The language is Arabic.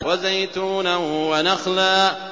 وَزَيْتُونًا وَنَخْلًا